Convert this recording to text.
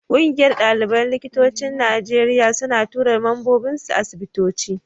Ƙungiyar ɗaliban likitocin Najeriya suna tura mambobinsu asibitoci.